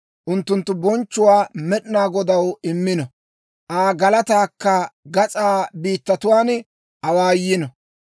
Unttunttu bonchchuwaa Med'inaa Godaw immino; Aa galataakka gas'aa biittatuwaan awaayyino.